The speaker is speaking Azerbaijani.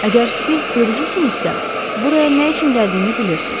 Əgər siz görücüsünüzsə, buraya nə üçün gəldiyimi bilirsiz.